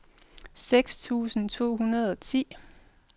seks tusind to hundrede og ti